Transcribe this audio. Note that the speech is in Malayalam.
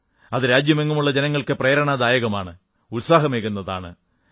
അത് രാജ്യമെങ്ങുമുള്ള ജനങ്ങൾക്ക് പ്രേരണാപ്രദമാണ് ഉത്സാഹമേകുന്നതാണ്